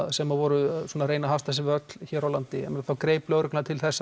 sem voru að reyna að hasla sér völl hér á landi þá greip lögreglan til þess